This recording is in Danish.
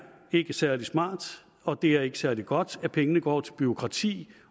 ikke særlig smart og det er ikke særlig godt at pengene går til bureaukrati